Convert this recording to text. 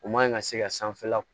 U man ɲi ka se ka sanfɛla